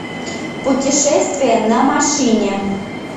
путешествие на машине